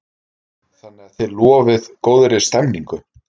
Þannig að þið lofið góðri stemningu?